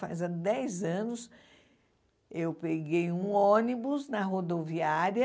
Faz há dez anos, eu peguei um ônibus na rodoviária